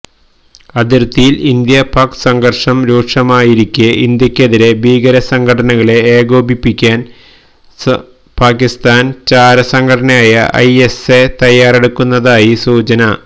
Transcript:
അതിര്ത്തിയില് ഇന്ത്യാ പാക്ക് സംഘര്ഷം രൂക്ഷമായിരിക്കേ ഇന്ത്യക്കെതിരേ ഭീകര സ്മ്ഘടനകളേ ഏകോപിപ്പിക്കാന് പാക്കിസ്ഥാന് ചാര സംഘടനയായ ഐഎസ്എ തയ്യാറെടുക്കുന്നതായി സൂചന